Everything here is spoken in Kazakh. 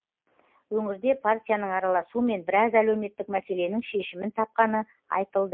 өңірде партияның араласуымен біраз әлеуметтік мәселенің шешімін тапқаны айтылды